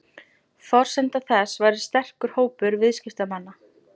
Forsenda þess væri sterkur hópur viðskiptamanna